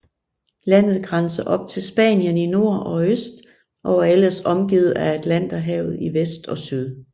Landet grænser op til Spanien i nord og øst og er ellers omgivet af Atlanterhavet i vest og syd